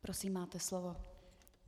Prosím, máte slovo.